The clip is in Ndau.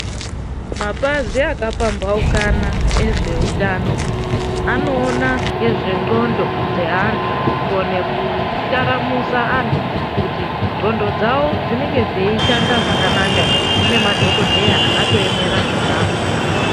Mapazi aka pambaukana ezve utano ano ona ngezve ndxondo dze antu ku kone ku taramusa antu kuti ndxondo dzavo dzinenge dzei shanda zvakanaka ere kune madhokodheya akato emera zvonazvo.